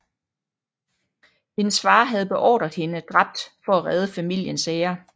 Hendes far havde beordret hende dræbt for at redde familiens ære